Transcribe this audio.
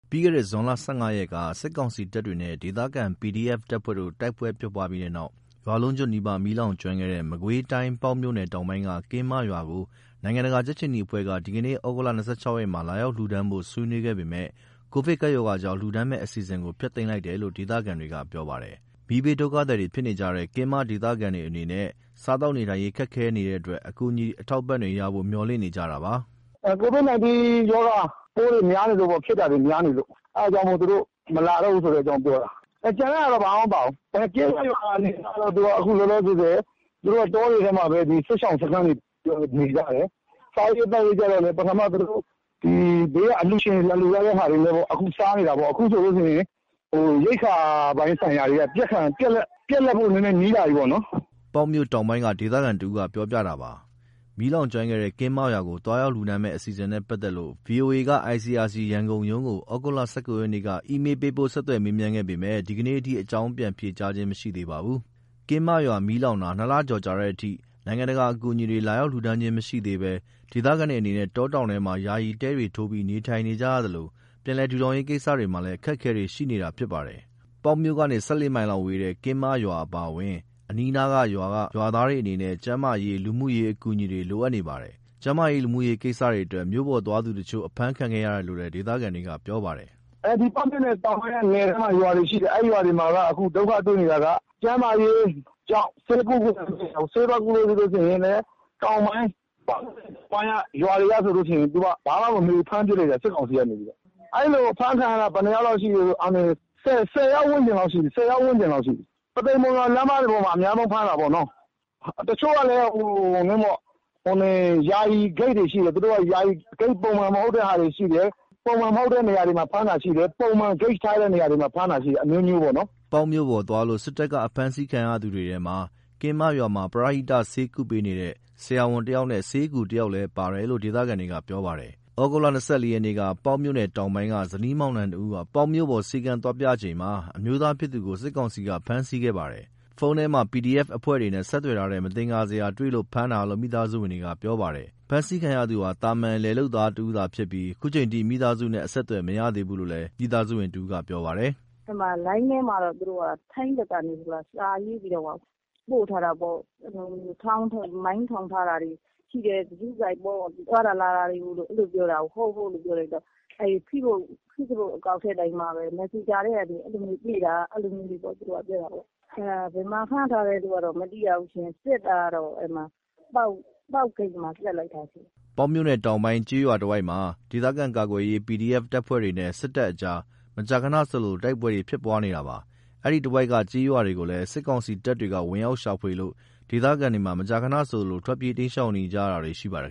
ပြီးခဲ့တဲ့ ဇွန် ၁၅ ရက်က စစ်ကောင်စီတပ်တွေနဲ့ ဒေသခံ PDF တပ်ဖွဲ့တို့ တိုက်ပွဲဖြစ်ပြီးတဲ့နောက် ရွာလုံးကျွတ် နီးပါး မီးလောင်ကျွမ်းခဲ့တဲ့ မကွေးတိုင်း ပေါက်မြို့နယ် တောင်ပိုင်းက ကင်းမရွာကို နိုင်ငံတကာ ကြက်ခြေနီအဖွဲ့က ဒီကနေ့ သြဂုတ် ၂၆ ရက်မှာ လာရောက်လှူဒါန်းဖို့ ဆွေးနွေးခဲ့ပေမယ့် ကိုဗစ်ကပ်ရောဂါကြောင့် လှူဒါန်းမယ့်အစီအစဉ်ကို ဖျက်သိမ်းလိုက်တယ်လို့ ဒေသခံတွေကပြောပါတယ်။ မီးဘေးဒုက္ခသည်ဖြစ်နေကြတဲ့ ကင်းမဒေသခံတွေအနေနဲ့ စားသောက်နေထိုင်ရေး ခက်ခဲနေတဲ့အတွက် အကူအညီ အထောက်အပံ့တွေရဖို့ မေ ျှာ်လင့်နေကြတာပါ။ “COVID-19 ရောဂါပိုးတွေ ဖြစ်တာများနေလို့ အဲ့ဒါကြောင့်မို့ သူတို့မလာတော့ဘူးဆိုတဲ့အကြောင်းပြောတာ။ ကျန်တဲ့ဟာတွေဘာမှမပြောဘူး။ အခုလောလောဆယ် ကင်းမရွာအနေအထားကတော့ တောတွေထဲမှာပဲ စစ်ရှောင်စခန်းတွေနဲ့ နေကြတယ်။ စားရေးသောက်ရေးကြတော့လည်း ပထမ သူတို့ဘေးက အလှူရှင်တွေ လာလှူထားတဲ့ဟာတွေနဲ့ စားနေတာပေါ့။ အခုဆိုရင် ရိက္ခာပိုင်းဆိုင်ရာတွေက ပြတ်လပ်ဖို့ နီးလာပြီပေါ့။" ပေါက်မြို့တောင်ပိုင်းက ဒေသခံတဦးပြောပြတာပါ။ မီးလောင်ကျွမ်းခဲ့တဲ့ ကင်းမရွာကို သွားရောက်လှူဒါန်းမယ့် အစီအစဉ်နဲ့ ပတ်သက်လို့ ဗွီအိုအေက ICRC ရန်ကုန်ရုံးကို သြဂုတ် ၁၉ ရက်က အီးမေလ်းပို့ ဆက်သွယ်မေးမြန်းခဲ့ပေမယ့် ဒီကနေ့အထိ အကြောင်းပြန်ဖြေကြားခြင်းမရှိသေးပါဘူး။ ကင်းမရွာမီးလောင်တာ ၂ လကျော်ကြာတဲ့အထိ နိုင်ငံတကာအကူအညီတွေ လာရောက်လှူဒါန်းတာမရှိသေးဘဲ ဒေသခံတွေအနေနဲ့ တောတောင်တွေထဲမှာ ယာယီတဲတွေထိုးပြီးနေထိုင်နေရသလို ပြန်လည် ထူထောင်ရေးကိစ္စတွေမှာ အခက်အခဲတွေရှိနေတာဖြစ်ပါတယ်။ ပေါက်မြို့ကနေ ၁၄ မိုင်လောက်ဝေးတဲ့ ကင်းမရွာအပါအဝင် အနီးအနားရွာတွေက ရွာသားတွေအနေနဲ့ ကျန်းမာရေး၊ လူမှုရေးအကူအညီတွေ လိုအပ်နေပါတယ်။ ကျန်းမာရေး၊ လူမှုရေးကိစ္စတွေအတွက် မြို့ပေါ်သွားသူတချို့ အဖမ်းခံခဲ့ရတယ်လို့ ဒေသခံတွေက ပြောပါတယ်။ "ပေါက်မြို့နယ်တောင်ပိုင်းက နယ်ထဲက ရွာတွေမှာက ဒုက္ခတွေ့နေတာက ကျန်းမာရေးကြောင့် ဆေးသွားကုလို့မရဘူး။ ဆေးသွားကုလို့ ပေါက်မြို့နယ် တောင်ပိုင်းက ရွာတွေဆိုရင် ဘာမှမမေးဘူး ဖမ်းပစ်လိုက်တယ် စစ်ကောင်စီက။ အဲ့လိုဖမ်းခံရတာ ဘယ်နှယောက်လောက် ရှိပြီလဲဆိုရင် ၁၀ ယောက်ဝန်းကျင်လောက်ရှိပြီ။ ပုသိမ် မုံရွာလမ်းမှာ အဓိကဖမ်းတာပေါ့။ တချို့ဆို ယာယီဂိတ်တွေရှိတယ်။ သူတို့က ယာယီဂိတ် ပုံမှန်မဟုတ်တဲ့ဟာတွေရှိတယ်။ ပုံမှန်မဟုတ်တဲ့ဂိတ်တွေမှာ ဖမ်းတာရှိတယ်။ ပုံမှန်မဟုတ်တဲ့ဂိတ်တွေမှာ ဖမ်းတာတွေလည်းရှိတယ်။” ပေါက်မြို့ပေါ် သွားလို့ စစ်တပ်က ဖမ်းဆီးခံရသူတွေထဲမှာ ကင်းမရွာမှာ ပရဟိတ ဆေးကုသပေးနေတဲ့ ဆရာဝန်တယောက်နဲ့ ဆေးအကူတယောက်လည်းပါတယ်လို့ ဒေသခံတွေကပြောပါတယ်။ သြဂုတ် ၂၄ ရက်ကတော့ ပေါက်မြို့နယ်တောင်ပိုင်းက ဇနီးမောင်နှံနှစ်ဦး ပေါက်မြို့ပေါ် ဆေးခန်းသွားပြချိန်မှာ အမျိုးသားဖြစ်သူကို စစ်ကောင်စီက ဖမ်းဆီးခဲ့ပါတယ်။ ဖုန်းထဲမှာ PDF အဖွဲ့တွေနဲ့ဆက်သွယ်ထားတဲ့ မသင်္ကာစရာတွေ တွေ့လို့ဖမ်းတာလို့ မိသားစုဝင်တယောက်က ပြောပါတယ်။ ဖမ်းဆီးခံရသူဟာ သာမာန် လယ်လုပ်သားတဦးသာဖြစ်ပြီး ခုချိန်အထိ မိသားစုနဲ့အဆက်အသွယ် မရသေးဘူးလို့ မိသားစုဝင်တဦးက ပြောပါတယ်။ “လိုင်းထဲမှာတော့ ထိုင်းဘက်ကနေ စာရေးပြီးတော့မှ ပို့ထားတာပေါ့။ မိုင်းထောင်ထားတာတွေရှိတယ်။ ဂရုစိုက်ပေါ့ သွားတာလာတာတွေ ရှိတယ်ပြောတာကို ဟုတ် ဟုတ်လို့ ပြောလိုက်တော့ ဖေ့ဘွတ်အကောင့် မက်ဆင်ဂျာကနေ တွေ့တာလို့ အဲ့လိုပြောတာပေါ့။ ဘယ်မှာဖမ်းထားတယ်ဆိုတာ မသိရဘူး။ စစ်တာတော့ ပေါက်ဂိတ်မှာ မိတာ။” ပေါက်မြို့နယ်တောင်ပိုင်း ကျေးရွာတွေတဝိုက်မှာ ဒေသခံကာကွယ်ရေး PDF အဖွဲ့တွေနဲ့ စစ်တပ်ကြား မကြာခဏဆိုသလို တိုက်ပွဲတွေဖြစ်ပွားနေတာပါ။ အဲဒီတဝိုက်က ကျေးရွာတွေကိုလည်း စစ်ကောင်စီတပ်တွေ ဝင်ရောက်ရှာဖွေလို့ ဒေသခံတွေမှာ မကြာခဏဆိုသလို ထွက်ပြေး တိမ်းရှောင်နေရတာတွေ ရှိနေပါတယ်